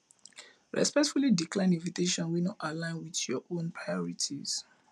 respectfully decline invitation wey no align with your own priorities